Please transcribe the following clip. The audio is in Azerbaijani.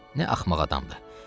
"Nə axmaq adamdır.